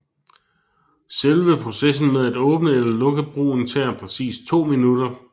Selve processen med at åbne eller lukke broen tager præcis to minutter